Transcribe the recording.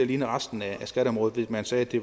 ligne resten af skatteområdet ved at man sagde at det